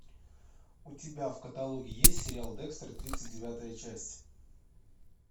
у тебя в каталоге есть сериал декстер тридцать девятая часть